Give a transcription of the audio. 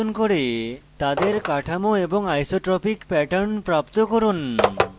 তাদের গঠন এবং isotropic pattern প্রাপ্ত করুন